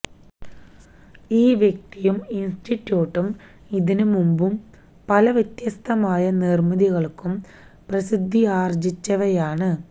ഈ വ്യക്തിയും ഇന്സ്റ്റിറ്റ്യൂട്ടും ഇതിന് മുമ്പും പല വ്യത്യസ്തമായ നിര്മ്മിതികള്ക്കും പ്രസിദ്ധിയാര്ജിച്ചവയാണ്